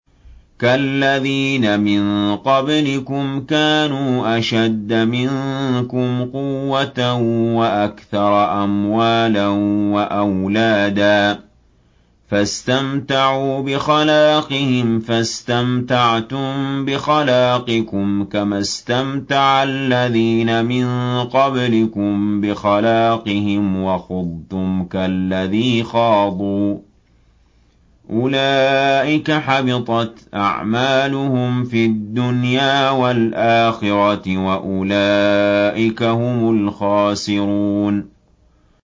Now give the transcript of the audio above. كَالَّذِينَ مِن قَبْلِكُمْ كَانُوا أَشَدَّ مِنكُمْ قُوَّةً وَأَكْثَرَ أَمْوَالًا وَأَوْلَادًا فَاسْتَمْتَعُوا بِخَلَاقِهِمْ فَاسْتَمْتَعْتُم بِخَلَاقِكُمْ كَمَا اسْتَمْتَعَ الَّذِينَ مِن قَبْلِكُم بِخَلَاقِهِمْ وَخُضْتُمْ كَالَّذِي خَاضُوا ۚ أُولَٰئِكَ حَبِطَتْ أَعْمَالُهُمْ فِي الدُّنْيَا وَالْآخِرَةِ ۖ وَأُولَٰئِكَ هُمُ الْخَاسِرُونَ